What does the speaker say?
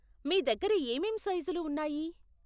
మీ దగ్గర ఏమేం సైజులు ఉన్నాయి?